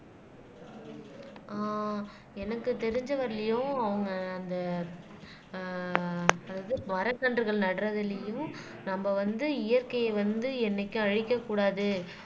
ஆஹ் எனக்கு தெரிஞ்ச வரையிலும் அவங்க அந்த ஆஹ் அதாவது மரக் கன்றுகள் நடறதுலேயும் நம்ம வந்து இயற்கையை வந்து என்னைக்கும் அழிக்கக்கூடாது